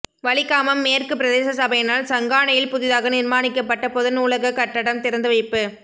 வலிகாமம் மேற்கு பிரதேச சபையினால் சங்கானையில் புதிதாக நிர்மாணிக்கப்பட்ட பொது நூலக கட்டடம் திறந்து வைப்பு